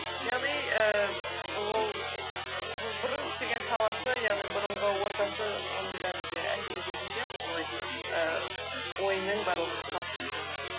яғни ііі ол бұрын істеген саласы яғни бұрынғы ортасы оның бәрі де әсер ететін сияқты солай ііі ойының барлығының қалыптасуына